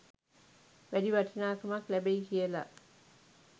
වැඩි වටිනාකමක් ලැබෙයි කියලා?